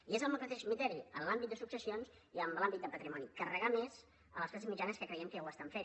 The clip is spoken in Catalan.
i és amb el mateix criteri en l’àmbit de successions i en l’àmbit de patrimoni carregar més les classes mitjanes que creiem que ja ho estan fent